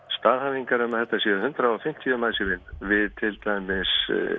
staðhæfingar um að þetta séu hundrað og fimmtíu manns í vinnu við til dæmis